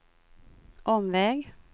omväg